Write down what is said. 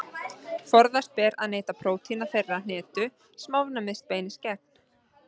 Forðast ber að neyta prótína þeirrar hnetu sem ofnæmið beinist gegn.